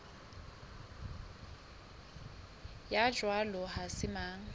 ya jwalo ha se mang